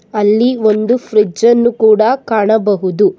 ಅಲ್ಲಿ ಒಂದು ಫ್ರಿಜ್ಜನ್ನು ಕೂಡ ಕಾಣಬಹುದು.